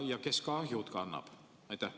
Ja kes kahjud kannab?